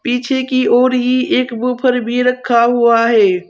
पीछे की ओर ही एक बुफर भी रखा हुआ है।